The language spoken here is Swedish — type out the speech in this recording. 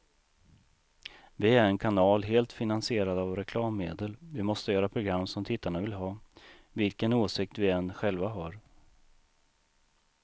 Vi är en kanal helt finansierad av reklammedel, vi måste göra program som tittarna vill ha, vilken åsikt vi än själva har.